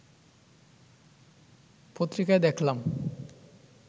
“পত্রিকায় দেখলাম